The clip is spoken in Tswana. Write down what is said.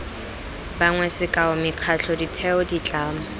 bangwe sekao mekgatlho ditheo ditlamo